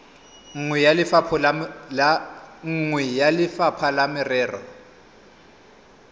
nngwe ya lefapha la merero